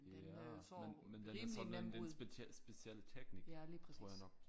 Ja men men den har sådan en en speciel teknik tror jeg nok